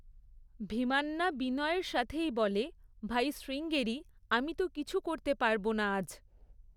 ভীমান্না বিনয়ের সাথেই বলে, "ভাই শ্রীঙ্গেরি, আমি তো কিছু করতে পারব না আজ"।